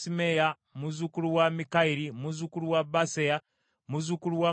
muzzukulu wa Mikayiri, muzzukulu wa Baaseya, muzzukulu wa Malukiya,